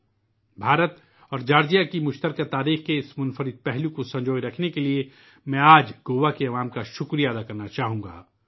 آج، بھارت اور جارجیا کی مشترکہ تاریخ کے اس منفرد حصے کی حفاظت کرنے کے لئے میں گوا کے عوام کا شکریہ ادا کرنا چاہوں گا